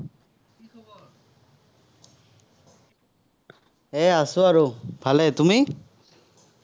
এৰ আছো আৰু, ভালেই। তুমি?